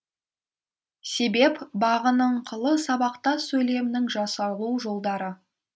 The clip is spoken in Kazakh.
себеп бағыныңқылы сабақтас сөйлемнің жасалу жолдары